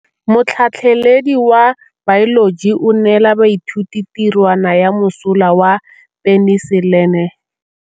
Motlhatlhaledi wa baeloji o neela baithuti tirwana ya mosola wa peniselene.